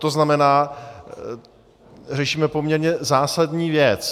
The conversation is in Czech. To znamená, řešíme poměrně zásadní věc.